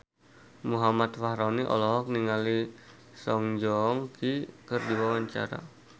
Muhammad Fachroni olohok ningali Song Joong Ki keur diwawancara